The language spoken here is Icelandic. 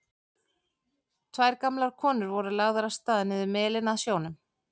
Tvær gamlar konur voru lagðar af stað niður melinn að sjónum.